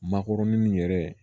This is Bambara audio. Makɔrɔni yɛrɛ